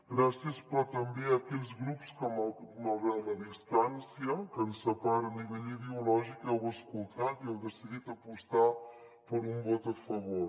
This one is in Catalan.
gràcies però també a aquells grups que malgrat la distància que ens separa a nivell ideològic heu escoltat i heu decidit apostar per un vot a favor